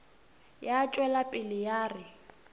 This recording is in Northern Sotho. ya tšwela pele ya re